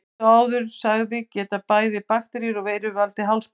Eins og áður sagði geta bæði bakteríur og veirur valdið hálsbólgu.